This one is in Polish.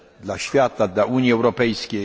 dla świata, dla Unii Europejskiej.